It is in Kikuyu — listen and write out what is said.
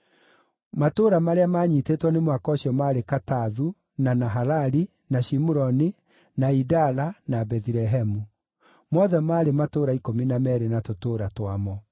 Matũũra marĩa maanyiitĩtwo nĩ mũhaka ũcio maarĩ Katathu, na Nahalali, na Shimuroni, na Idala, na Bethilehemu. Mothe maarĩ matũũra ikũmi na meerĩ na tũtũũra twamo.